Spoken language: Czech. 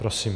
Prosím.